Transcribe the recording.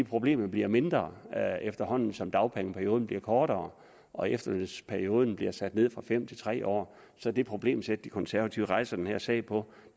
problemet bliver mindre efterhånden som dagpengeperioden bliver kortere og efterlønsperioden bliver sat ned fra fem år til tre år så det problemsæt de konservative rejser den her sag på